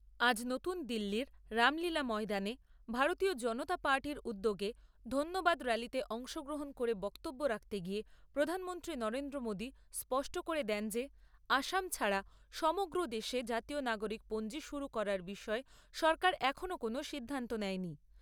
আজ নতুন দিল্লীর রামলীলা ময়দানে ভারতীয় জনতা পার্টির উদ্যোগে ধন্যবাদ র্যালিতে অংশগ্রহণ করে বক্তব্য রাখতে গিয়ে প্রধানমন্ত্রী নরেন্দ্র মোদী স্পষ্ট করে দেন যে আসাম ছাড়া সমগ্র দেশে জাতীয় নাগরিক পঞ্জী শুরু করার বিষয়ে সরকার এখনো কোনও সিদ্ধান্ত নেয় নি।